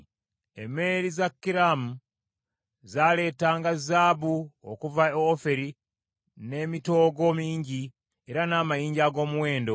(Emmeeri za Kiramu zaaleetanga zaabu okuva e Ofiri, n’emitoogo mingi, era n’amayinja ag’omuwendo.